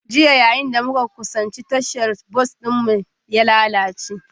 Jiya, yayin da muka kusanci tashar bas bas ɗinmu ya lalace